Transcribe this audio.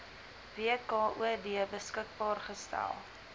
wkod beskikbaar gestel